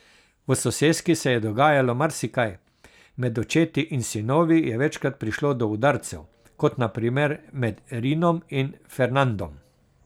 V soseski se je dogajalo marsikaj, med očeti in sinovi je večkrat prišlo do udarcev, kot na primer med Rinom in Fernandom.